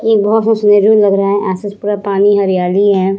यह बहुत से लग रहा है आस-पास बहुत सारा पानी हरियाली है।